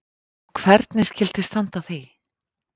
Og hvernig skyldi standa á því?